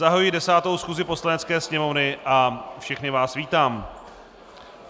Zahajuji 10. schůzi Poslanecké sněmovny a všechny vás vítám.